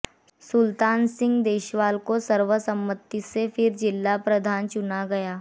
सुलतान सिंह देशवाल को सर्वसम्मति से फिर जिला प्रधान चुना गया